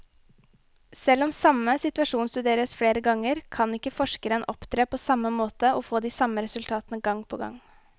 Selv om samme situasjon studeres flere ganger, kan ikke forskeren opptre på samme måte og få de samme resultatene gang på gang.